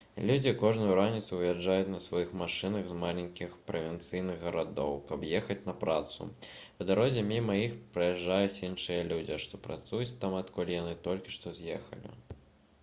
людзі кожную раніцу выязджаюць на сваіх машынах з маленькіх правінцыйных гарадоў каб ехаць на працу па дарозе міма іх праязджаюць іншыя людзі што працуюць там адкуль яны толькі што з'ехалі